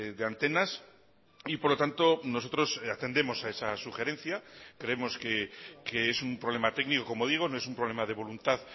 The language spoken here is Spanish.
de antenas y por lo tanto nosotros atendemos a esa sugerencia creemos que es un problema técnico como digo no es un problema de voluntad